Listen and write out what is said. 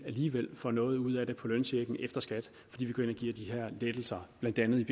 aligevel får noget ud af det på lønchecken efter skat fordi vi går ind og giver de her lettelser blandt andet